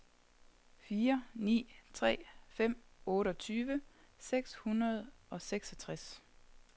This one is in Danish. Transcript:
fire ni tre fem otteogtyve seks hundrede og seksogtres